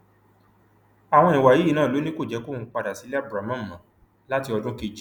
àwọn ìwà yìí náà ló ní kò jẹ kóun padà sílé abdulramon mọ láti ọdún kejì